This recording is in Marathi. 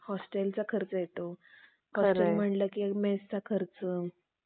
अजून म्हटलं कि मेस चा खर्च